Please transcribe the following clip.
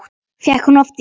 Fékk hún oft ís?